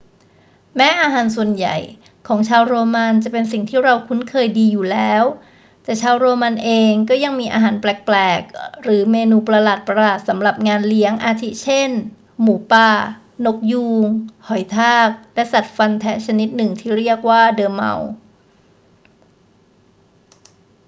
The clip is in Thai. แม้อาหารส่วนใหญ่ของชาวโรมันจะเป็นสิ่งที่เราคุ้นเคยดีอยู่แล้ว แต่ชาวโรมันเองก็ยังมีอาหารแปลกๆ หรือเมนูประหลาดๆ สำหรับงานเลี้ยง อาทิเช่น หมูป่า นกยูง หอยทาก และสัตว์ฟันแทะชนิดหนึ่งที่เรียกว่าดอร์เมาส์